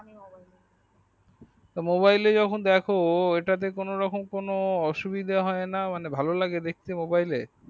তা mobile যখন দেখো তখন কোনো রকম কোনো অসুবিদা হয় না ভালো লাগে দেখতে